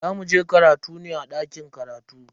Za muje karatu ne a dakin karatu.